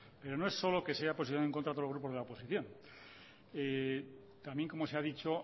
pero no es solo que se haya posicionado en contra todo el grupo de la oposición también como se ha dicho